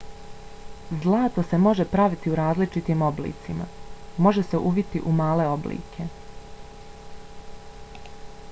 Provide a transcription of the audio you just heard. zlato se može praviti u različitim oblicima. može se uviti u male oblike